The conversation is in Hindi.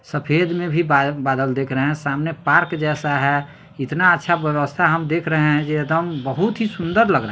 सफेद मे भी बा-बादल दिख रहे हैं सामने पार्क जैसा है इतना अच्छा व्यवस्था हम देख रहे है ये एकदम बहुत ही सुंदर लग रहा --